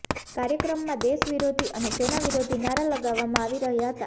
કાર્યક્રમમાં દેશ વિરોધી અને સેના વિરોધી નારા લગાવવામાં આવી રહૃાા હતા